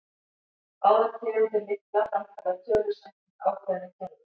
Báðar tegundir lykla framkalla tölur samkvæmt ákveðnu kerfi.